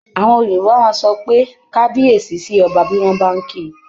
Àwọn Yorùbá máa sọ pé "kabiyesi" sí ọba, bí wọ́n bá ń ki.